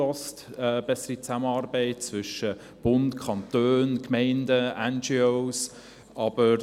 In diesem geht es um eine bessere Zusammenarbeit zwischen Bund, Kantonen, Gemeinden und Non-governmental organizations (NGO).